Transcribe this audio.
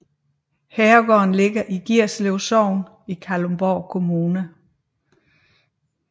Herregården ligger i Gierslev Sogn i Kalundborg Kommune